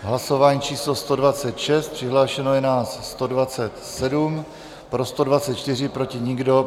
Hlasování číslo 126, přihlášeno je nás 127, pro 124, proti nikdo.